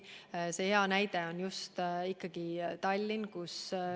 Hea näide on just Tallinn.